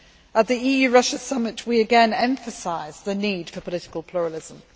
At the EU Russia Summit, we again emphasised the need for political pluralism.